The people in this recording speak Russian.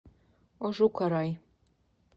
ожукарай